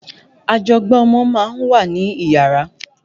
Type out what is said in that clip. Ajọgbá ọmọ ma ń wà níyàrá.